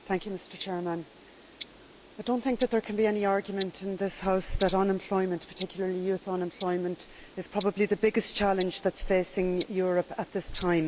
Mr President, I do not think there can be any argument in this House that unemployment, particularly youth unemployment, is probably the biggest challenge facing Europe at this time.